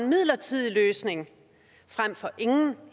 midlertidig løsning frem for ingen